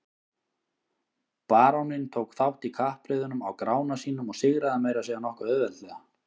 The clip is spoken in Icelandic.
Baróninn tók þátt í kappreiðunum á Grána sínum og sigraði meira að segja nokkuð auðveldlega.